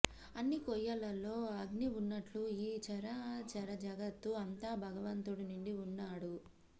అన్ని కొయ్యలలో అగ్ని ఉన్నట్లు ఈ చరాచరజగత్తు అంతా భగవంతుడు నిండి ఉన్నాడు